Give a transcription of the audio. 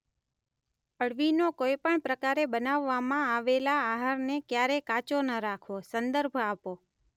અળવીનો કોઇપણ પ્રકારે બનાવવામાં આવેલા આહારને ક્યારેય કાચો ન રાખવો સંદર્ભ આપો .